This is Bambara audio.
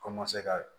Komase ka